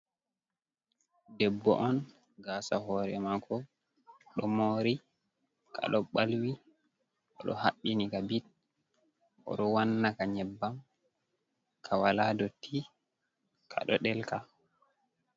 Debbo on gasa hore mako ɗo mori, kaɗo ɓalwi oɗo haɓɓini ka bit oɗowanna ka nyebbam, kawala dotti kaɗo ɗelka.